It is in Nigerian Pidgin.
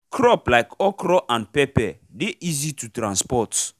crop like okra and pepper dey easy to transport